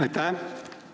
Aitäh!